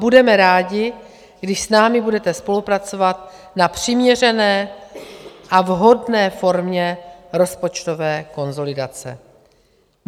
Budeme rádi, když s námi budete spolupracovat na přiměřené a vhodné formě rozpočtové konsolidace.